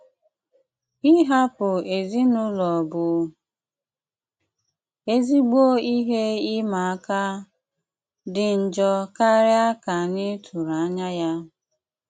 Ìhapụ̀ ezinụlọ̀ bụ ezigbo ihe ị́mà àkà, dị njọ̀ kárị̀a ka anyị tụrụ̀ anyà ya.